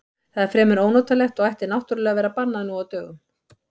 Það er fremur ónotalegt og ætti náttúrlega að vera bannað nú á dögum.